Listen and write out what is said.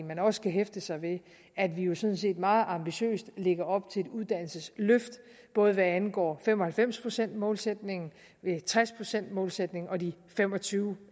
man også skal hæfte sig ved at vi jo sådan set meget ambitiøst lægger op til et uddannelsesløft både hvad angår fem og halvfems procents målsætningen tres procents målsætningen og de fem og tyve